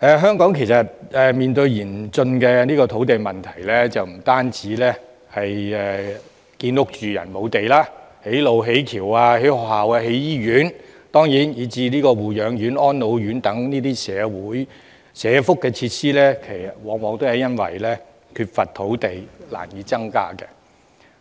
香港面對嚴峻的土地問題，不單興建居住房屋的土地不足，築橋、築路、興建學校、醫院，以至護養院和安老院等社福設施往往亦因為缺乏土地而難以實行，